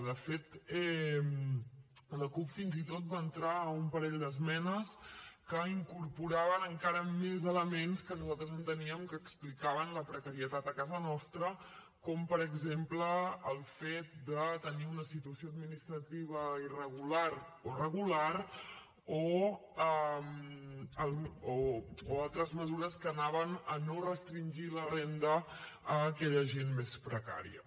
de fet la cup fins i tot va entrar un parell d’esmenes que incorporaven encara més elements que nosaltres enteníem que explicaven la precarietat a casa nostra com per exemple el fet de tenir una situació administrativa irregular o regular o altres mesures que anaven a no restringir la renda a aquella gent més precària